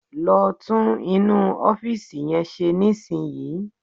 Lọ tún inú ọ́fìsì yẹn ṣe nísìnyí